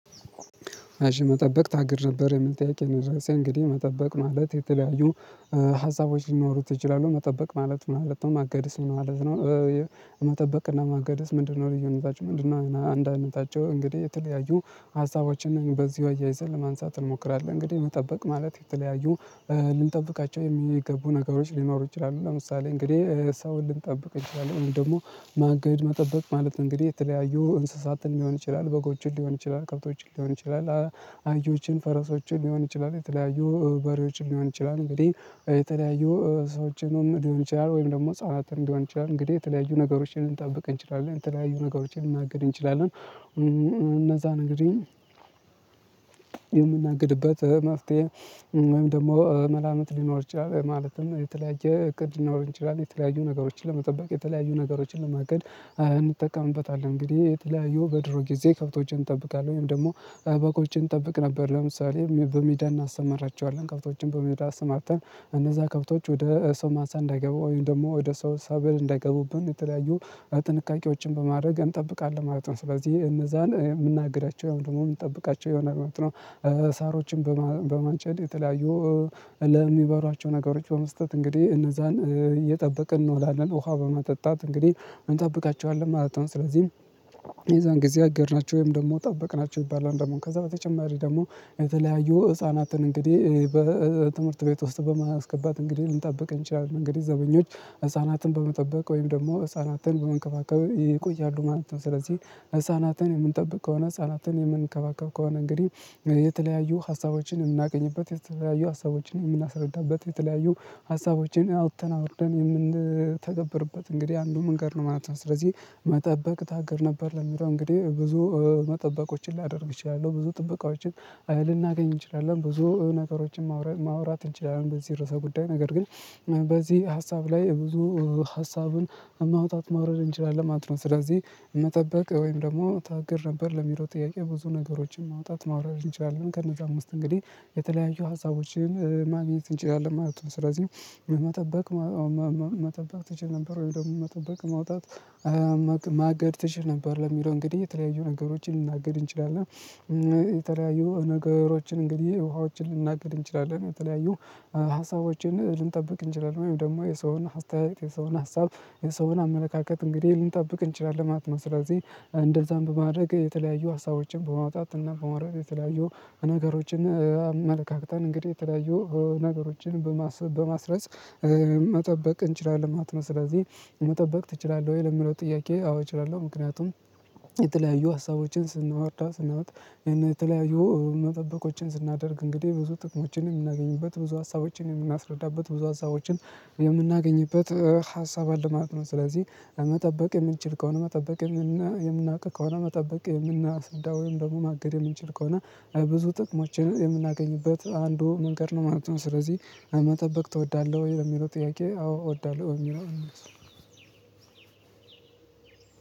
መጠበቅ ታግድ ነበር የሚል ጥያቄ ነው የደሰኝ እንግዲህ መጠበቅ ማለት የተለያዩ ሀሳቦች ሊኖሩት ይችላሉ። መጠበቅ ማለት ማለት ነው ማገድስ ምን ማለት ነው መጠበቅና ማገድስ ምንድነው ልዩነታችሁ ምንድነው አንድ አይነታቸው እንግዲህ የተለያዩ ሀሳቦችን በዚህ አያይዘን ለማንሳት እንሞክራለን። እንግዲህ መጠበቅ ማለት የተለያዩ ልንጠብቃቸው የሚገቡ ነገሮች ሊኖሩ ይችላሉ። ለምሳሌ እንግዲህ ሰው ልንጠብቅ እንችላለን ወይም ደግሞ ማገድ መጠበቅ ማለት እንግዲህ የተለያዩ እንስሳትን ሊሆን ይችላል፣ በጎችን ሊሆን ይችላል፣ ከብቶችን ሊሆን ይችላል፣ አህዮችን፣ ፈረሶችን ሊሆን ይችላል፣ የተለያዩ በሬዎችን ሊሆን ይችላል እንግዲህ የተለያዩ ሰዎችንም ሊሆን ይችላል። ወይም ደግሞ ህፃናትን ሊሆን ይችላል እንግዲህ የተለያዩ ነገሮችን ልንጠብቅ እንችላለን የተለያዩ ነገሮችን ልናግድ እንችላለን። እነዛን እንግዲህ የምናግድበት መፍትሄ ወይም ደግሞ መላምት ሊኖር ይችላል። ማለትም የተለያየ እቅድ ሊኖረን ይችላል የተለያዩ ነገሮችን ለመጠበቅ የተለያዩ ነገሮችን ለማግድ እንጠቀምበታለን። እንግዲህ የተለያዩ በድሮ ጊዜ ከብቶችን እጠብቃለን ወይም ደግሞ በጎችን እንጠብቅ ነበር ለምሳሌ በሜዳ እናሰመራቸዋለን። ከብቶችን በሜዳ አሰማርተን እነዛ ከብቶች ወደ ሰው ማሳ እንዳይገቡ ወይም ደግሞ ወደ ሰው ሰበል እንዳይገቡብን የተለያዩ ጥንቃቄዎችን በማድረግ እንጠብቃለን ማለት ነው። ስለዚህ እነዛን የምናግዳቸው ወይም ደግሞ የምንጠብቃቸው ይሆናል ማለት ነው። ሳሮችን በማ በማጨድ የተለያዩ ለሚበሯቸው ነገሮች በመስጠት እንግዲህ እነዛን እየጠበቅን እንወላለን ውሃ በማጠጣት እንግዲህ እንጠብቃቸዋለን ማለት ነው። ስለዚህ የዛን ጊዜ አገድናቸው ወይም ደግሞ ጠበቅናቸው ይባላል ደግሞ ከዛ በተጨማሪ ደግሞ የተለያዩ ህፃናትን እንግዲህ በትምህርት ቤት ውስጥ በማስገባት እንግዲህ ልንጠብቅ እንችላለን። እንግዲህ ዘበኞች ህፃናትን በመጠበቅ ወይም ደግሞ ህፃናትን በመንከባከብ ይቆያሉ ማለት ነው። ስለዚህ ህፃናትን የምንጠብቅ ከሆነ ህፃናትን የምንከባከብ ከሆነ እንግዲህ የተለያዩ ሀሳቦችን የምናገኝበት የተለያዩ ሀሳቦችን የምናስረዳበት የተለያዩ ሀሳቦችን አውጥተን አውርደን የምንተገበርበት እንግዲህ አንዱ መንገድ ነው ማለት ነው። ስለዚህ መጠበቅ ታግድ ነበር ለሚለው እንግዲህ ብዙ መጠበቆችን ላደርግ እችላለሁ። ብዙ ጥበቃዎችን ልናገኝ እንችላለን። ብዙ ነገሮችን ማውራት ማውራት እንችላለን በዚህ ርዕሰ ጉዳይ ነገር ግን በዚህ ሀሳብ ላይ ብዙ ሀሳብን ማውጣት ማውረድ እንችላለን ማለት ነው። ስለዚህ መጠበቅ ወይም ደግሞ ታግር ነበር ለሚለው ጥያቄ ብዙ ነገሮችን ማውጣት ማውረድ እንችላለን ከነዛም ውስጥ እንግዲህ የተለያዩ ሀሳቦችን ማግኘት እንችላለን ማለት ነው። ስለዚህ መጠበቅ መጠበቅ ትችል ነበር ወይም ደግሞ መጠበቅ ማውጣት "ማገድ ትችል ነበር?" ለሚለው እንግዲህ የተለያዩ ነገሮችን ልናግድ እንችላለን። የተለያዩ ነገሮችን እንግዲህ ውሃዎችን ልንናግድ እንችላለን የተለያዩ ሀሳቦችን ልንጠብቅ እንችላለን ወይም ደግሞ የሰውን አስተያየት የሰውን ሀሳብ የሰውን አመለካከት እንግዲህ ልንጠብቅ እንችላለን ማለት ነው። ስለዚህ እንደዛም በማድረግ የተለያዩ ሀሳቦችን በማውጣት እና በማውረድ የተለያዩ ነገሮችን አመለካከተን እንግዲህ የተለያዩ ነገሮችን በማስ በማስረጽ መጠበቅ እንችላለን ማለት ነው። ስለዚህ "መጠበቅ ትችላለህ ወይ?" ለምለው ጥያቄ አዎ እችላለሁ። ምክንያቱም የተለያዩ ሀሳቦችን ስንወርዳ ስናወጥ የተለያዩ መጠበቆችን ስናደርግ እንግዲህ ብዙ ጥቅሞችን የምናገኝበት ብዙ ሀሳቦችን የምናስረዳበት ብዙ ሀሳቦችን የምናገኝበት ሀሳብ አለ ማለት ነው። ስለዚህ መጠበቅ የምንችል ከሆነ መጠበቅ የምናውቅ ከሆነ መጠበቅ የምናስረዳ ወይም ደግሞ ማገድ የምንችል ከሆነ ብዙ ጥቅሞችን የምናገኝበት አንዱ መንገድ ነው ማለት ነው። ስለዚህ "መጠበቅ ትወዳለህ?" ወይ የሚለው ጥያቄ አዎ እወዳለሁ በሚለው